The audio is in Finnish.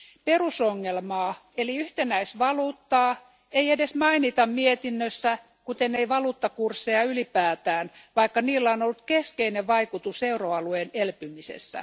Perusongelmaa eli yhtenäisvaluuttaa ei edes mainita mietinnössä, kuten ei valuuttakursseja ylipäätään, vaikka niillä on ollut keskeinen vaikutus euroalueen elpymisessä.